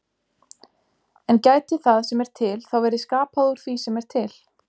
En gæti það sem er til þá verið skapað úr því sem er til?